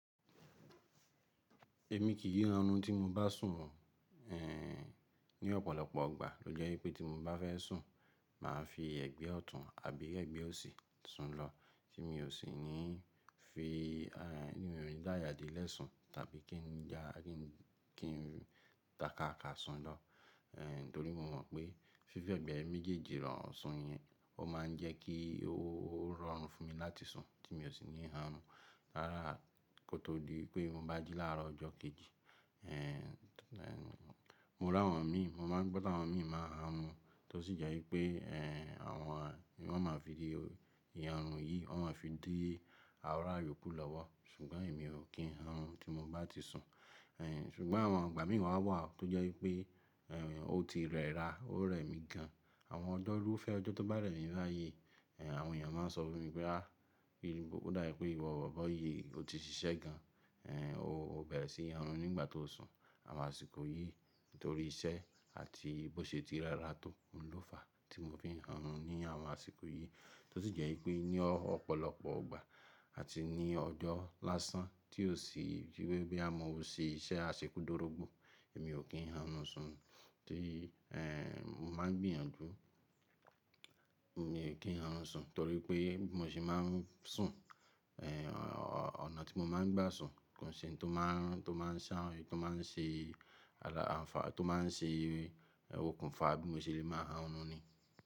Èmi kì í hánrun tí mo bá sùn. Ní ọ̀pọ̀lọpọ̀ ìgbà ló jẹ́ wípé tí mo bá fẹ́ sùn, màá fi ẹ̀gbẹ́ ọ̀tún àbí ẹ̀gbẹ́ òsì sùn lọ, tí mi ò sì ní fi-- ti mi o ni dáya de lẹ́ sun tàbí kí n ja-- kí n takaa ka sùn lọ. Torí mo mọ̀ pé fífẹ́ ẹ̀gbẹ́ méjèèjì rò sùn yẹn, ó máa ń jẹ́ kí ó rọrùn fún mi láti sùn tí mi ò sì ní hánrun rárá kó tó di wipé mo bá jí láàárọ̀ ọjọ́ kejì. Mo rí àwọn mi, mo máa ń gbọ́ ti àwọn mi máa hárun tó sì jẹ́ wípé àwọn, wọ́n o máa fi i ìhárun yìí, wọ́n o máa fi di àwòn ará iyòkù lọ́wọ́. Ṣùgbọ́n èmi ò kí hánu tí mo bá ti sùn. Ṣùgbọ́n àwọn ìgbà mìíràn máa wà tó jẹ́ wípé ó ti rẹ́ra, ó rẹ̀ mí gan. Àwọn ọjọ́rú fẹ́ ọjọ́ tó bẹ̀rẹ̀ ní báyìí, àwọn èèyàn máa sọ fún mi pé a, kíni ó dà bí pé ìwọ̀ bọ̀bọ̀ yìí ò ti ṣiṣẹ́ gan. Ó bẹ̀rẹ̀ sí í hánrun nígbà tó sùn. Àwọn àsìkò yìí nítorí iṣẹ́ àti bó ṣe ti rẹ́ra tó n ló fà á tí mo fi ń hánrun ní àwọn àsìkò yìí. Tó sì jẹ́ wípé ní ọ̀pọ̀lọpọ̀ ìgbà àti ní ọjọ́ lásán tí ó sì wípé bóyá mo ṣe iṣẹ́ àseku dọ́rogbò, èmi ò kí hánrun sùn tí mo máa ń gbìyànjú, mi ò kí hánrun sùn torí pé bí mo ṣe máa ń sùn, ọ̀nà tí mo máa ń gbá sùn, kounṣé n tó máa ń ṣàn--, tó máa ń ṣe ala-- àǹfàà, tó máa ń ṣe okùnfà bí mo ṣe lè má hánrun ni.